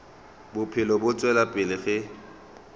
bophelo bo tšwela pele ge